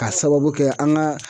Ka sababu kɛ an ka